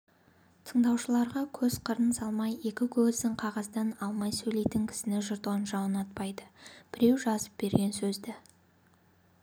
тыңдаушыларға көз қырын салмай екі көзін қағаздан алмай сөйлейтін кісіні жұрт онша ұнатпайды біреу жазып берген сөзді